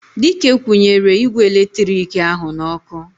Dike kwunyere igwe eletiriki ahu n'oku